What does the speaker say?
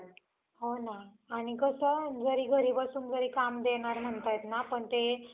उद्देश काय? केंद्र सरकारने आखेलेल राष्ट्रीय शिक्षण धोरणाचे उद्देश प्रत्येक घटकाला समर्पक आणि लवचिक शिक्षण हा आहे. या धोरणाच्या अंमल बजावनीच्या